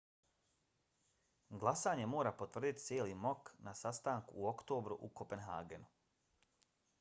glasanje mora potvrditi cijeli mok na sastanku u oktobru u kopenhagenu